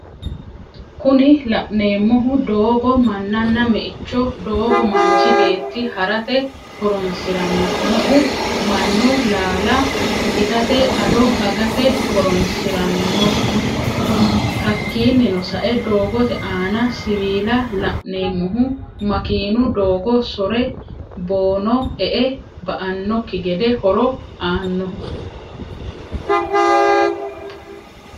Kuni la'neemohu doogo, mananna, me'eho, doogo manchi beeti harate hornsiranno, me'u manu laala itatte, ado agate horonsiranno. Hakininno sa'e doogotte aanna siwila la'neemohu makinu doogo sore boono e'e ba'anokki gede horo aannoho